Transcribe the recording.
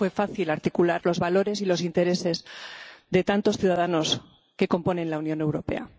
nunca fue fácil articular los valores y los intereses de tantos ciudadanos que componen la Unión Europea.